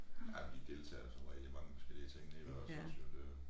Ej men deltager jo som regel i mange forskellige ting nede ved os ogå jo det jo